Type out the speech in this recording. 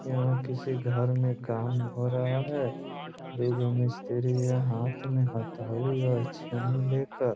यहां किसी घर में काम हो रहा है दू गो मिस्त्री यहां हाथ में हथोड़ी और छेनी लेकर --